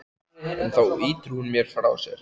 En þá ýtir hún mér frá sér.